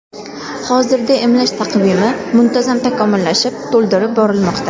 Hozirda emlash taqvimi muntazam takomillashib, to‘ldirib borilmoqda.